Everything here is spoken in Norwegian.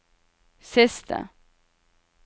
siste